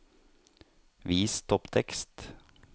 Vis topptekst